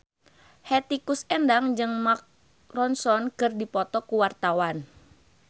Hetty Koes Endang jeung Mark Ronson keur dipoto ku wartawan